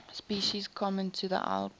species common to the alps